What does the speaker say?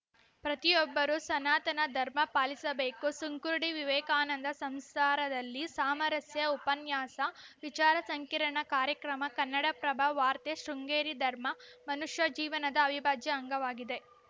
ಪ್ರತಿಯೊಬ್ಬರೂ ಸನಾತನ ಧರ್ಮ ಪಾಲಿಸಬೇಕು ಸುಂಕುರ್ಡಿ ವಿವೇಕಾನಂದ ಸಂಸಾರದಲ್ಲಿ ಸಾಮರಸ್ಯ ಉಪನ್ಯಾಸ ವಿಚಾರ ಸಂಕಿರಣ ಕಾರ್ಯಕ್ರಮ ಕನ್ನಡಪ್ರಭ ವಾರ್ತೆ ಶೃಂಗೇರಿ ಧರ್ಮ ಮನುಷ್ಯ ಜೀವನದ ಅವಿಭಾಜ್ಯ ಅಂಗವಾಗಿದೆ